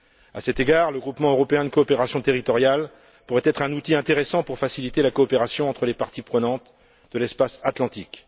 À cet égard, le groupement européen de coopération territoriale pourrait être un outil intéressant pour faciliter la coopération entre les parties prenantes de l'espace atlantique.